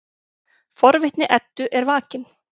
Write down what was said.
Forvitni Eddu er vakin.